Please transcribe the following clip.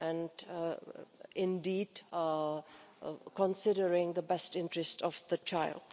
We are indeed considering the best interest of the child.